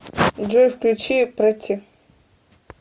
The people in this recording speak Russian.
сбер включи претти